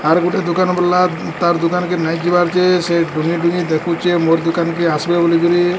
ଆର୍ ଗୋଟେ ଦୁକାନ୍ ବଲା ତାର୍ ଦୁକାନ୍ କେ ନାଇଁ ଯିବାର୍ ଯେ ସେ ଡୁଙ୍ଗି ଡୁଙ୍ଗି ଦେଖୁଚେ ମୋର୍ ଦୁକାନ୍ କେ ଆସବେ ବୋଲି କରି।